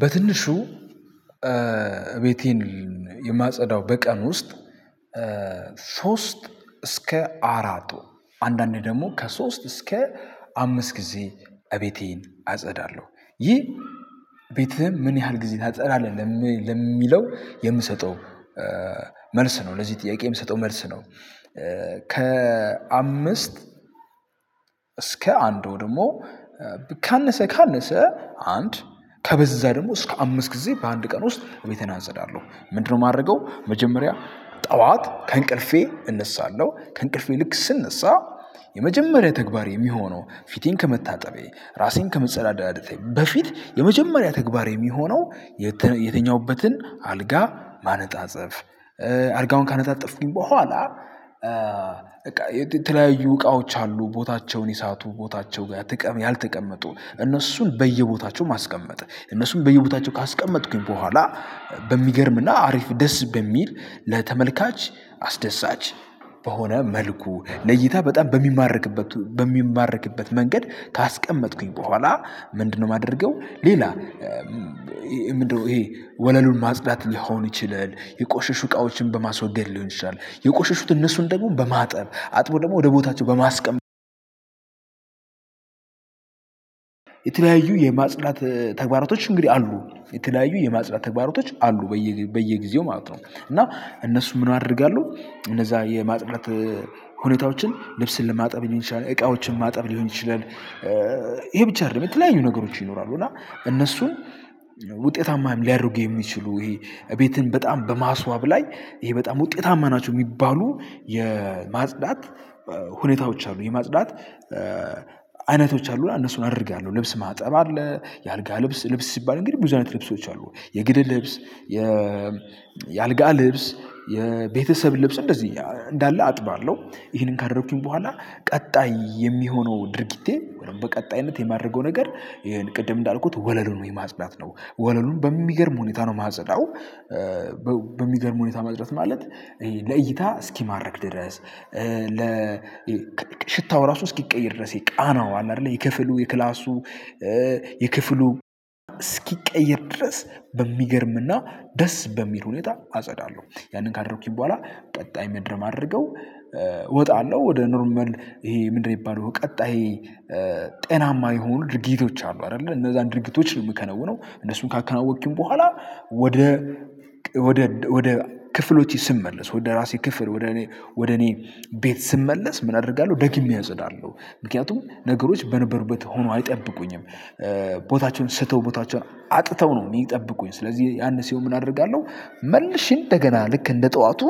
በትንሹ እቤቴን የማጸዳው በቀን ውስጥ ሶስት እስከ አራቱ አንዳንዴ ደግሞ ከሶስት እስከ አምስት ጊዜ እቤቴን አጸዳለሁ ይህ ቤትህም ምን ያህል ጊዜ እናጸዳለን? የምሰጠው መልስ ነው ለዚህ ጥያቄ የምሰጠው መልስ ነው። ከአምስት እስከ አንድ ደግሞ ካነሰ ካነሰ አንድ ከበዛ ደግሞ እስከ አምስት ጊዜ በአንድ ቀን ውስጥ ቤቴን አጸዳለሁ። ምንድነው የማደርገው? መጀመሪያ ጠዋት ከእንቅልፌ እነሳለሁ ከእንቅልፌ ልክ ስነሳ የመጀመሪያ ተግባር የሚሆነው ፊቴን ከመታጠቤ ራሴን ከመጸዳደቴ በፊት የመጀመሪያ ተግባሬ የሚሆነው የተኛሁበትን አልጋ ማነጣጠጸፍ አልጋውን ካነጣጠፍኩኝ በኋላ በቃ የተለያዩ እቃዎች አሉ ቦታቸውን የሳቱ ቦታቸው ጋር ያልተቀመጡ እነሱን በየቦታቸው ማስቀመጥ እነሱም በየቦታቸው ካስቀመጥኩኝ በኋላ በሚገርምና አሪፍ ደስ በሚል ለተመልካች አስደሳች በሆነ መልኩ ለይታ በጣም በሚማርክበት በሚማርክበት መንገድ ካስቀመጥኩኝ በኋላ። ምንድነው የማደርገው? ሌላ ምንድነው ይሄ ወለሉን ማጽዳት ሊሆን ይችላል የቆሸሹ እቃዎችን በማስወገድ ሊሆን ይችላል የቆሸሹት እነሱን ደግሞ በማጠብ አጥቦ ደግሞ ወደ ቦታቸው በማስቀመጥ። የተለያዪ የማጽዳት ተግባሮቶች እንግዲህ አሉ የተለያዩ የማጽዳት ተግባሮቶች አሉ በየጊዜው ማለት ነው። እና እነሱ ምን አደርጋለሁ እነዛ የማጽዳት ሁኔታዎችን ልብስን ለማጥብ ሊሆን ይችላል እቃዎችን ማጥብ ሊሆን ይችላል። ይሄ ብቻ አይደለም የተለያዩ ነገሮች ይኖራሉ እና እነሱን ውጤታማ ሊያደርግ የሚችሉ ይሄ እቤትን በጣም በማስዋብ ላይ ይሄ በጣም ውጤታማ ናቸው። የሚባሉ የማጽዳት ሁኔታዎች አሉ የማጽዳት አይነቶች አሉና እነሱን አደርጋለሁ። ልብስ ማጠብ አለ የአልጋ ልብስ ሲባል እንግዲህ ብዙ አይነት ልብሶች አሉ የግድ ልብስ የ የአልጋ ልብስ የቤተሰብ ልብስ እንደዚህ እንዳለ አጥባለሁ። ይሄንን ካደረኩኝ በኋላ ቀጣይ የሚሆነው ድርጊቴ በቀጣይነት የማድረገው ነገር ይሄን ቅድም እንዳልኩት ወለሉን የማጽዳት ነው። ወለሉን በሚገርም ሁኔታ ነው ማጸዳው። በሚገርም ሁኔታ መዝረት ማለት ለእይታ እስኪማርክ ድረስ ለ ሽታው ራሱ እስኪቀይር ድረስ የቃናው አለ አይደለ የክፍሉ የክላሱ የክፍሉ እስኪቀየር ድረስ በሚገርምና ደስ በሚል ሁኔታ አጸዳለሁ ያንን ካደረኩኝ በኋላ ቀጣይ ምድር ማድረገው እወጣለሁ ወደ ኖርማል ይሄ ምንድነው? የሚባለው ቀጣይ ጤናማ የሆኑ ድርጊቶች አሉ አይደለ እነዛን ድርጊቶች ነው የምከነውነው እነሱን ካከናወንኩኝ በኋላ። ወደ ወደ ወደ ክፍሎቼ ስመለስ ወደ ራሴ ክፍል ወደ እኔ ወደ እኔ ቤት ስመለስ ምን አደርጋለሁ? ደግሜ አጸዳለሁ ምክንያቱም ነገሮች በነበሩበት ሆኖ አይጠብቁኝም። ቦታቸውን ስተው ቦታቸውን አጥተው ነው የሚጠብቁኝ። ስለዚህ ያንን ሲኦል ምን አደርጋለሁ? መልሼ እንደገና ልክ እንደ ጠዋቱ